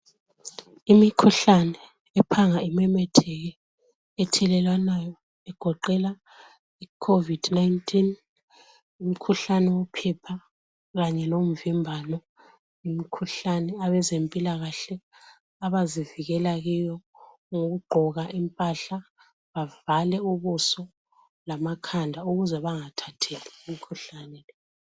Imikhuhlane ephanga imemetheke ethelelwanayo egoqela iCovid 19, umkhuhlane wophepha kanye lomvimbano yimkhuhlane abezempilakahle abazivikela kiyo ngokugqoka impahla bavale ubuso lamakhala ukuze bangathathi imikhuhlane le.